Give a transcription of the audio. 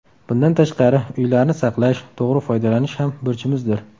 Bundan tashqari, uylarni saqlash, to‘g‘ri foydalanish ham burchimizdir.